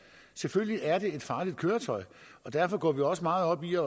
selvfølgelig er det et farligt køretøj og derfor går vi også meget op i at